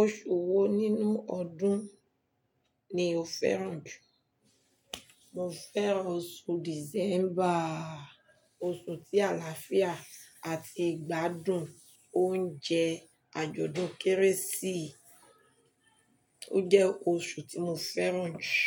Oṣù wo nínú ọdún ni o fẹ́ràn jù? Mo fẹ́ràn oṣù December, oṣù tí àlàáfíà àti ìgbádùn oúnjẹ àjọ̀dún Kérésì, ó jẹ́ oṣù tí mo fẹ́ràn jù.